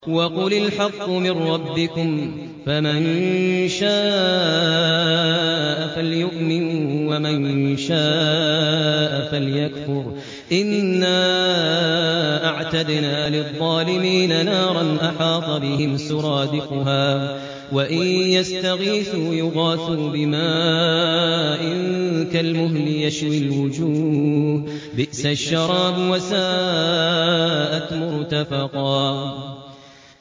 وَقُلِ الْحَقُّ مِن رَّبِّكُمْ ۖ فَمَن شَاءَ فَلْيُؤْمِن وَمَن شَاءَ فَلْيَكْفُرْ ۚ إِنَّا أَعْتَدْنَا لِلظَّالِمِينَ نَارًا أَحَاطَ بِهِمْ سُرَادِقُهَا ۚ وَإِن يَسْتَغِيثُوا يُغَاثُوا بِمَاءٍ كَالْمُهْلِ يَشْوِي الْوُجُوهَ ۚ بِئْسَ الشَّرَابُ وَسَاءَتْ مُرْتَفَقًا